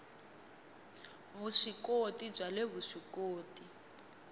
vusw ikoti bya le vuswikoti